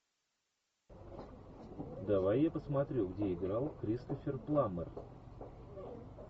давай я посмотрю где играл кристофер пламмер